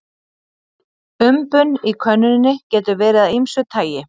Umbun í könnunum getur verið af ýmsu tagi.